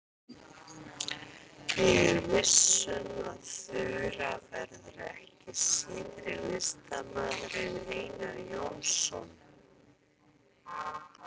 Ég er viss um að Þura verður ekki síðri listamaður en Einar Jónsson.